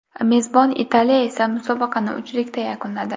Mezbon Italiya esa musobaqani uchlikda yakunladi.